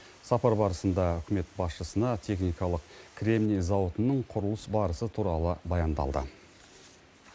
сапар барысында үкімет басшысына техникалық кремний зауытының құрылыс барысы туралы баяндалды